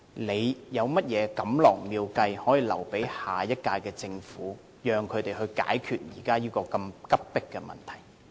他有甚麼錦囊妙計可以留給下屆政府，讓他們解決現時這個如此迫切的問題？